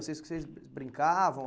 Vocês vocês brincavam